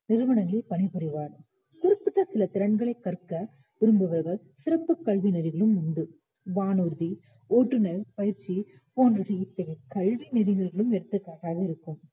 நிறுவனங்களில் பணிபுரிவர் குறிப்பிட்ட சில திறன்களைக் கற்க விரும்புபவர் சிறப்புக் கல்வி நெறிகளும் உண்டு வானூர்தி, ஓட்டுனர் பயிற்சி போன்றவை இத்தகைய கல்வி நெறிகளுக்கு எடுத்துக்காட்டாக இருக்கும்